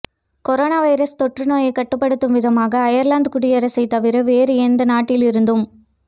corona virus தொற்றுநோயைத் கட்டுப்படுத்தும் விதமாக அயர்லாந்து குடியரசைத் தவிர வேறு எந்த நாட்டிலிருந்தும்